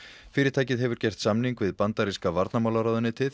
fyrirtækið hefur gert samning við bandaríska varnarmálaráðuneytið